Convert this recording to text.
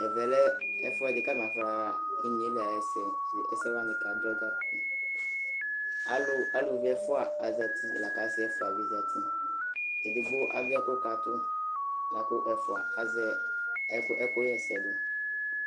Ɛvɛ lɛ ɛfʋɛdɩ kʋ alʋ afɔnaɣa inye yɛ li ayʋ ɛsɛ, ɛsɛ wanɩ kadzɔ dza Alʋ aluvi ɛfʋa azati la kʋ asɩ ɛfʋa bɩ zati Edigbo adʋ ɛkʋkatʋ la kʋ ɛfʋa azɛ ɛkʋ ɛkʋɣa ɛsɛ dʋ